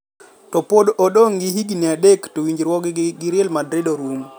To pod odong' gi higni adek to winjruokgi gi Real Madrid orum